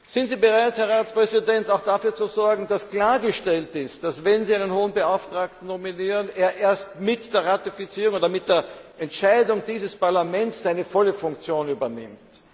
Sind Sie bereit, Herr Ratspräsident, auch dafür zu sorgen, dass klargestellt ist, dass, wenn Sie einen Hohen Beauftragten nominieren, er erst mit der Ratifizierung oder mit der Entscheidung dieses Parlaments seine volle Funktion übernimmt?